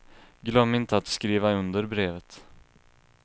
Glöm inte att skriva under brevet.